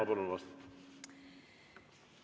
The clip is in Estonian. Ma palun vastust!